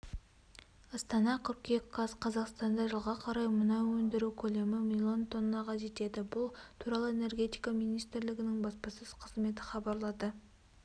астана қыркүйек қаз қазақстанда жылға қарай мұнай өндіру көлемі миллион тоннаға жетеді бұл туралы энергетика министрлігінің баспасөз қызметі хабарлады